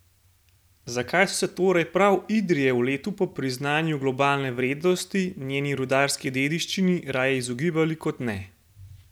Zakaj so se torej prav Idrije v letu po priznanju globalne vrednosti njeni rudarski dediščini raje izogibali kot ne?